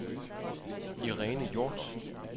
Irene Hjort